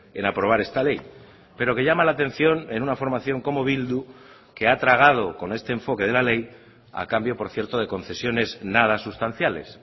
en aprobar esta ley pero que llama la atención en una formación como bildu que ha tragado con este enfoque de la ley a cambio por cierto de concesiones nada sustanciales